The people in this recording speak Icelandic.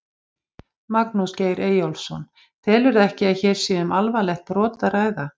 Magnús Geir Eyjólfsson: Telurðu ekki að hér sé um alvarlegt brot að ræða?